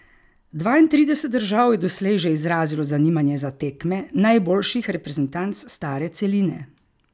Dvaintrideset držav je doslej že izrazilo zanimanje za tekme najboljših reprezentanc stare celine.